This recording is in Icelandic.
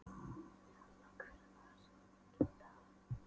Nella, hver er dagsetningin í dag?